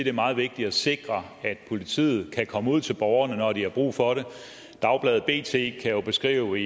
er meget vigtigt at sikre at politiet kan komme ud til borgerne når de har brug for det dagbladet bt kan jo beskrive